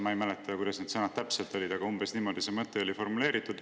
Ma ei mäleta, kuidas need sõnad täpselt olid, aga umbes niimoodi see mõte oli formuleeritud.